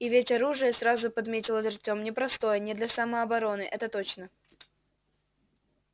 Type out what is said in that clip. и ведь оружие сразу подметил артём непростое не для самообороны это точно